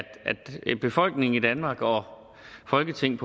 befolkningen i danmark og folketinget